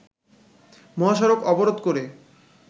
মহাসড়ক অবরোধ করে